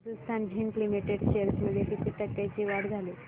Hindustan Zinc Limited shares मध्ये किती टक्क्यांची वाढ झाली